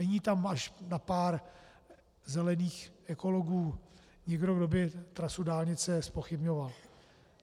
Není tam až na pár zelených ekologů nikdo, kdo by trasu dálnice zpochybňoval.